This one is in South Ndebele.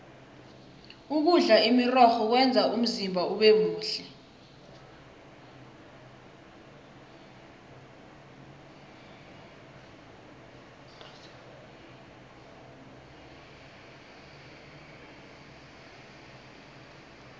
ukudla imirorho kwenza umzimba ubemuhle